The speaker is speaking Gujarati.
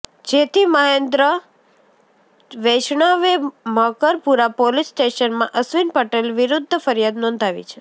જેથી મહેન્દ્ર વૈષ્ણવે મકરપુરા પોલીસ સ્ટેશનમાં અશ્વિન પટેલ વિરૃધ્ધ ફરિયાદ નોંધાવી છે